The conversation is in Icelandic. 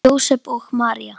Jósep og María